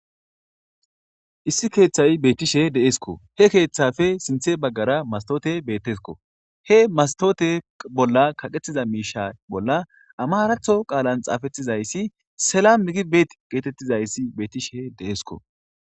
issi keeththay beettishe deeesko he keeththafe sinthe baggara mastoote bettesko he mastote bolla kaqetiza miisha bolla amaratho qaalan xaafettizayssi sela mikibeet geetettizayssi beettishe deeesko